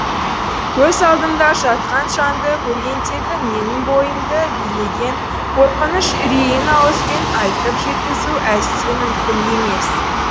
көз алдымда жатқан жанды көргендегі менің бойымды билеген қорқыныш үрейін ауызбен айтып жеткізу әсте мүмкін емес